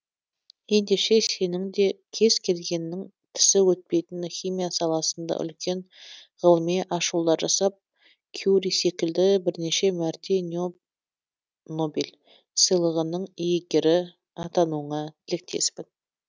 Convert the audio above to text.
ендеше сенің де кез келгеннің тісі өтпейтін химия саласында үлкен ғылыми ашулар жасап кюри секілді бірнеше мәрте нобель сыйлығының иегері атануыңа тілектеспін